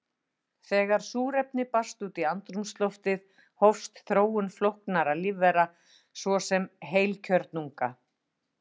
Þegar súrefni barst út í andrúmsloftið hófst þróun flóknara lífvera, svo sem heilkjörnunga.